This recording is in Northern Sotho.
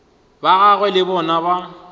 ba gagwe le bona ba